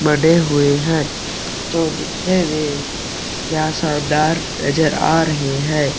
बडे हुए है जो दिखने में क्या शानदार नज़र आ रहे हैं ।